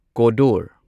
ꯀꯣꯗꯣꯔ